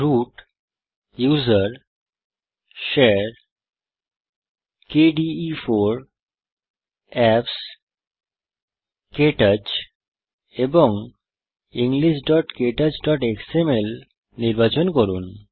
root GT usr GT share GT kde4 GT apps GT KTouch এবং englishktouchএক্সএমএল নির্বাচন করুন